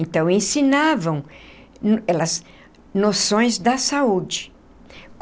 Então, ensinavam elas noções da saúde.